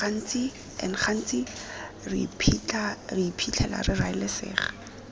gantsi re iphitlhela re raelesega